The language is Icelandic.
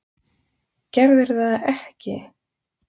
Gerðirðu það ekki?